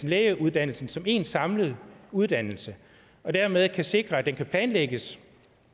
lægeuddannelsen som én samlet uddannelse dermed kan vi sikre at den kan planlægges